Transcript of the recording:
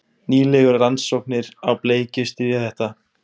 Nýlegar rannsóknir á bleikju styðja þetta.